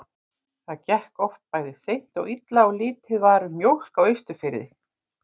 Það gekk oft bæði seint og illa og lítið var um mjólk á Austurfirði.